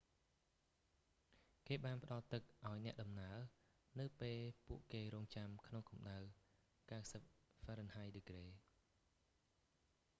គេបានផ្តល់ទឹកឱ្យអ្នកដំណើរនៅពេលពួកគេរង់ចាំក្នុងកំដៅ 90 ហ្វារិនហៃដឺក្រេ